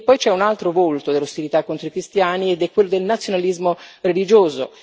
Poi c'è un altro volto dell'ostilità contro i cristiani ed è quello del nazionalismo religioso.